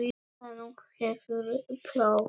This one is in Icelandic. Nú hefur próf.